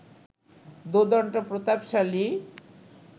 দোর্দণ্ড প্রতাপশালী